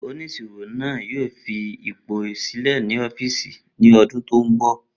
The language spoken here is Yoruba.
Oniṣiro naa yoo fi ipo silẹ ni ọfiisi ni ọdun to nbọ.